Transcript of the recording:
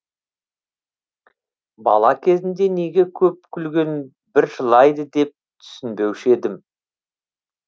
бала кезімде неге көп күлген бір жылайды деп түсінбеуші едім